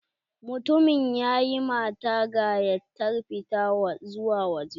Mutumin ya ƴi mata gayattar fita zuwa wajeh